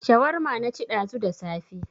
Shawarma na ci ɗazu da safe